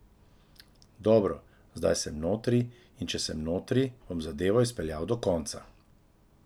Dobro, zdaj sem notri, in če sem notri, bom zadevo izpeljal do konca.